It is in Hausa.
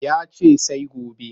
Ya ce sai gobe